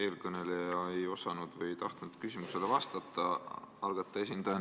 Eelmine ettekandja ei osanud või ei tahtnud algataja esindajana küsimustele vastata.